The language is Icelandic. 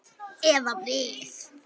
Eða við.